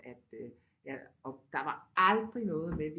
At øh jeg og der var aldrig noget med